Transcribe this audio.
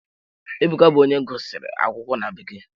Ebuka bụ onye gụsịrị akwụkwọ na bekee.